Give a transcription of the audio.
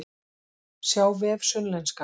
Sjá vef Sunnlenska